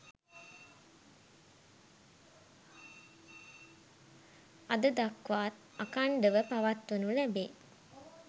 අද දක්වාත් අඛණ්ඩව පවත්වනු ලැබේ.